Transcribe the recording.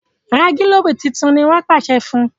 ra gilobu títún! ní wón pàṣẹ fún.